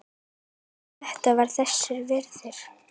En þetta var þess virði.